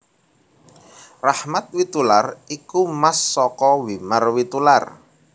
Rachmat Witoelar iku mas saka Wimar Witoelar